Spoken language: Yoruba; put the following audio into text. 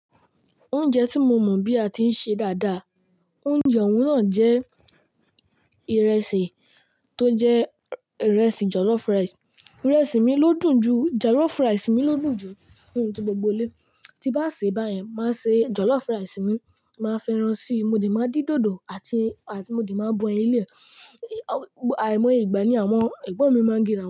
Oúnjẹ tí mo mọ̀ bí a ti ń ṣe dáadáa, oúnjẹ ọ̀wọ́n náà jẹ́ ìrẹsì tó jẹ́ ìrẹsì jọ̀lọ́fù ràìsì. Ìrẹsì mi ló dùn jù, jọ̀lọ́fù ràìsì mi ló dùn jù nínú ti gbogbo ilé. Tí bá sì báyẹn, máa ṣe jọ̀lọ́fù ràìsì mi, màá fẹ́ràn si, mo dẹ̀ máa dín dòdò àti, àti mo dẹ̀ máa bọ ẹni lé. Àìmọ́ ye ìgbà ni àwọn ẹ̀gbọ́n mi máa ń gẹrawon.